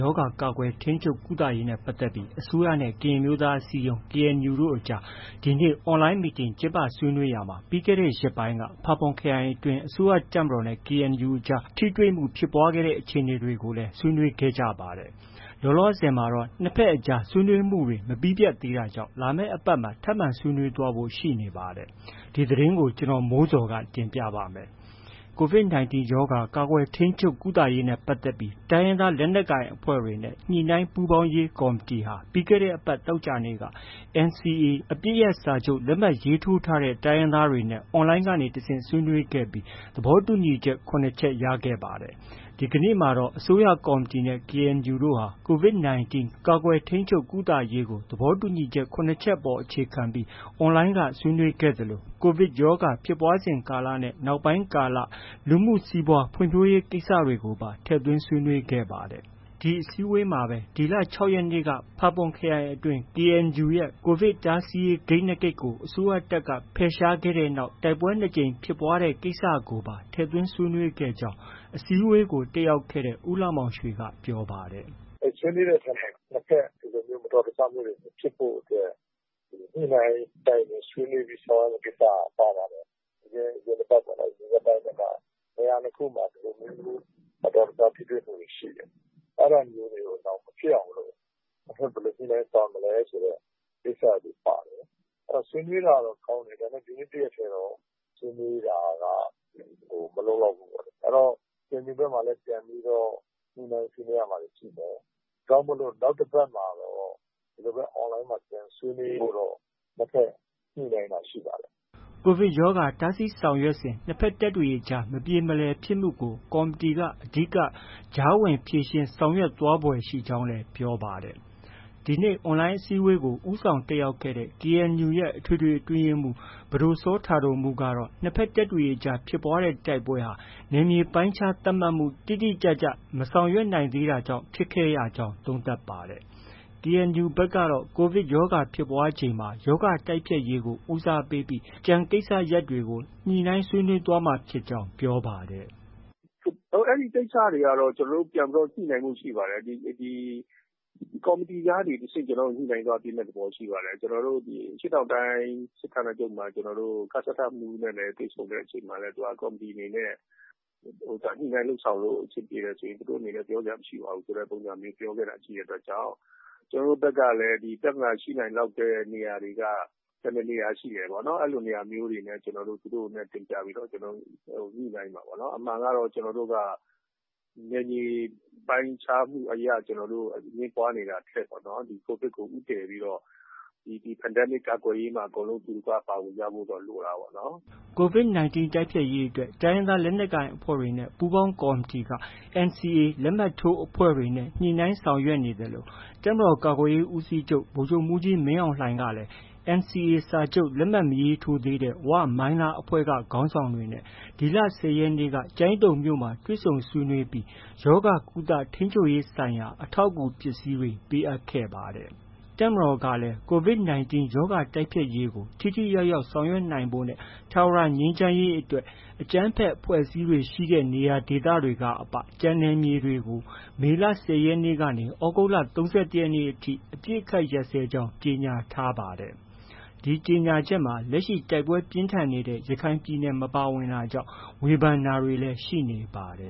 ရောဂါ ကာကွယ်၊ ထိန်းချုပ်၊ ကုသရေးနဲ့ ပတ်သက်ပြီး အစိုးရနဲ့ ကရင်အမျိုးသားအစည်းအရုံး KNU တို့ ဒီကနေ့ online meeting ကျင်းပဆွေးနွေးရာမှာ ပြီးခဲ့တဲ့ရက်ပိုင်းက ဖာပွန်ခရိုင်အတွင်း အစိုးရတပ်မတော်နဲ့ KNU အကြား ထိတွေ့မှုဖြစ်ပွားတဲ့အခြေအနေတွေကိုလည်း ဆွေးနွေးခဲ့ကြပါတယ်။ လောလောဆယ် နှစ်ဘက်အကြား ဆွေးနွေးမှုတွေ မပြီးပြတ်သေးတာကြောင့် လာမယ့်အပတ်မှာ ထပ်မံ ဆွေးနွေးသွားဖို့ ရှိနေပါတယ်။ ဒီသတင်းကို ဗွီအိုအေမြန်မာပိုင်း သတင်းထောက် ကိုမိုးဇော်က တင်ပြပေးပါမယ်။ အစိုးရက COVID-19 ရောဂါ ကာကွယ်၊ ထိန်းချုပ်၊ ကုသရေးနဲ့ ပတ်သက်ပြီး တိုင်းရင်းသား လက်နက်ကိုင်အဖွဲ့တွေနဲ့ ညှိနှိုင်းပူးပေါင်းရေးကော်မတီဟာ ပြီးခဲ့တဲ့အပတ် သောကြာနေ့က NCA အပစ်ရပ်စာချုပ် လက်မှတ် ရေးထိုးထားတဲ့ တိုင်းရင်းသားတွေနဲ့ online က တဆင့် ဆွေးနွေးခဲ့ပြီး သဘောတူညီချက် ၇ ချက် ရခဲ့ပါတယ်။ ဒီကနေ့မှာတော့ အစိုးရကော်မတီနဲ့ KNU တို့ဟာ COVID-19 ကာကွယ်၊ ထိန်းချုပ်၊ ကုသရေးကို သဘောတူညီချက် ၇ ချက်ပေါ် အခြေခံပြီး online က ဆွေးနွေးခဲ့သလို COVID ဖြစ်ပွားစဉ်ကာလနဲ့ နောက်ပိုင်းကာလ လူမှုစီးပွားဖွံ့ဖြိုးရေးကိစ္စရပ်တွေကိုပါ ထည့်သွင်း ဆွေးနွေးခဲ့ပါတယ်။ ဒီအစည်းအဝေးမှာပဲ ဒီလ ၆ ရက်နေ့က ဖာပွန်ခရိုင်အတွင်းရှိ KUN ရဲ့ COVID တားဆီးရေးဂိတ် ၂ ဂိတ်ကို အစိုးရတပ်က ဖယ်ရှားခဲ့တဲ့နောက် KNU နဲ့ တိုက်ပွဲ ၂ ကြိမ်ဖြစ်ပွားတဲ့ ကိစ္စကိုပါ ထည့်သွင်းဆွေးနွေးခဲ့ကြောင်း အစည်းအဝေးကို ပါဝင်တက်ရောက်ခဲ့တဲ့ ဦးလှမောင်ရွှေက ပြောပါတယ်။ “ဆွေးနွေးတဲ့အထဲမှာ နှစ်ဘက် ဒါမျိုး မတော်တဆမှုတွေ မဖြစ်ဖို့အတွက် ညှိနှိုင်း တိုင်ပင်ဆွေးနွေး ဆောင်ရွက်ရမယ့်အချက်တွေ ပါပါတယ်။ အရင်တစ်ပတ်ပေါ့နော်၊ အရင်ရက်ပိုင်းက နေရာ ၂ ခုမှာ ဒီလိုမျိုး မတော်တဆ ထိတွေ့မှုတွေ ရှိတယ်။ အဲဒါမျိုးတွေ နောင်မဖြစ်အောင်လို့ ဘယ်လိုညှိနှိုင်းဆောင်ရွက်မလဲဆိုတဲ့ ကိစ္စတွေ ပါတယ်။ ဆွေးနွေးတာတော့ ကောင်းတယ်။ ဒါပေမဲ့ ဒီနေ့ တစ်ရက်တည်းတော့ ဆွေးနွေးတာက မလုံလောက်ဘူးပေါ့လေ။ အဲတော့ KNU ဘက်မှာလည်း ပြန်ပြီး ညှိနှိုင်းဆွေးနွေးရမှာတွေ ရှိတယ်။ ဒါကြောင့် နောက်တစ်ပတ်မှာတော့ ဒီလိုပဲ online မှာ ပြန်ဆွေးနွေးဖို့တော့ နှစ်ဘက် ညှိနှိုင်းတာရှိပါတယ်။” COVID ရောဂါ တားဆီးရေးဆောင်ရွက်စဉ် နှစ်ဘက်တပ်တွေအကြား မပြေမလည်ဖြစ်မှုတွေကို ကော်မတီက အဓိက ကြားဝင်ဖြေရှင်းဆောင်ရွက်သွားဖွယ်ရှိကြောင်းလည်း ပြောပါတယ်။ ဒီနေ့ online အစည်းအဝေးကို ဦးဆောင်တက်ရောက်ခဲ့တဲ့ KNU ရဲ့ အထွေထွေအတွင်းရေးမှုး ပဒိုစောတာဒိုမှုးကတော့ နှစ်ဘက်တပ်တွေအကြားဖြစ်ပွားတဲ့ တိုက်ပွဲဟာ နယ်မြေပိုင်းခြားသတ်မှတ်မှု တိတိကျကျ မဆောင်ရွက်နိုင်သေးတာကြောင့် ဖြစ်ခဲ့ရကြောင်း သုံးသပ်ပါတယ်။ KNU ဘက်ကတော့ COVID ရောဂါဖြစ်ပွားချိန်မှာ ရောဂါတိုက်ဖျက်ရေးကို ဦးစားပေးပြီး ကျန်ကိစ္စရပ်တွေကို ညှိနှိုင်းဆွေးနွေးသွားမှာဖြစ်ကြောင်း ပြောပါတယ်။ “အဲဒီကိစ္စတွေကတော့ ကျနော်တို့ ပြန်ညှိနှိုင်းဖို့ ရှိပါတယ်။ ကော်မတီကနေတဆင့် ပြန်ညှိနှိုင်းသွားမယ့် သဘောရှိပါတယ်။ အရှေ့တောင်တိုင်း စစ်ဌာနချုပ် ကစထမှုးနဲ့ တွေ့ဆုံတဲ့အချိန်မှာလည်း သူက ကော်မတီအနေနဲ့ ညှိနှိုင်းလုပ်ဆောင်လို့ အဆင်ပြေတယ်ဆိုရင် သူတို့အနေနဲ့ ပြောစရာမရှိပါဘူး ဆိုတဲ့ပုံစံမျိုး ပြောခဲ့တဲ့အတွက်ကြောင့် ကျနော်တို့ဘက်ကလည်း ပြဿနာရှိနိုင်တဲ့ နေရာတွေက ဘယ်နှစ်နေရာ ရှိလဲပေါ့။ အဲလိုနေရာမျိုးတွေကို ကျနော်တို့ သူတို့နဲ့ တင်ပြပြီးတော့ ညှိနှိုင်းမှာပေါ့နော်။ အမှန်ကတော့ ကျနော်တို့က နယ်မြေပိုင်းခြားမှုအရ အငြင်းပွားနေတာထက် COVID ကို ဦးတည်ပြီးတော့ ဒီ Pandemic ကာကွယ်ရေးမှာ အတူတကွ ပါဝင်ကြဖို့တော့ လိုတာပေါ့နော်။” COVID-19 တိုက်ဖျက်ရေးအတွက် တိုင်းရင်းသားလက်နက်ကိုင်အဖွဲ့တွေနဲ့ ပူးပေါင်းကော်မတီဟာ NCA လက်မှတ်ထိုးအဖွဲ့တွေနဲ့ ညှိနှိုင်းဆောင်ရွက်နေသလို တပ်မတော်ကာကွယ်ရေးဦးစီးချုပ် ဗိုလ်ချုပ်မှုးကြီးမင်းအောင်လှိုင်ကလည်း NCA လက်မှတ် မရေးထိုးသေးတဲ့ ဝ၊ မိုင်းလား အဖွဲ့က ခေါင်းဆောင်တွေနဲ့ ဒီလ ၁၀ ရက်နေ့က ကျိုင်းတုံမြို့မှာ တွေ့ဆုံဆွေးနွေးခဲ့ပြီး ရောဂါကုသ ထိန်းချုပ်ရေးဆိုင်ရာ အထောက်အကူပစ္စည်းတွေ ပေးအပ်ခဲ့ပါတယ်။ တပ်မတော်ကလည်း COVID-19 ရောဂါ တိုက်ဖျက်ရေးကို ထိထိရောက်ရောက်ဆောင်ရွက်နိုင်ဖို့နဲ့ ထာဝရငြိမ်းချမ်းရေးအတွက် အကြမ်းဖက် အဖွဲ့အစည်းတွေရှိတဲ့ နေရာဒေသတွေကအပ ကျန်နယ်မြေတွေကို မေလ ၁၀ ရက်နေ့ကနေ သြဂုတ်လ ၃၁ ရက်နေ့အထိ အပစ်အခတ်ရပ်စဲကြောင်း ကြေညာထားပါတယ်။ ဒီကြေညာချက်မှာ လက်ရှိ တိုက်ပွဲပြင်းထန်နေတဲ့ ရခိုင်ပြည်နယ် မပါဝင်တာကြောင့် ဝေဖန်တာတွေလည်း ရှိနေပါတယ